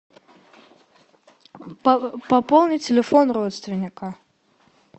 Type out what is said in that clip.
пополнить телефон родственника